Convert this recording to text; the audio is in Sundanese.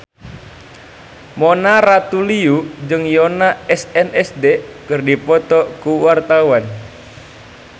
Mona Ratuliu jeung Yoona SNSD keur dipoto ku wartawan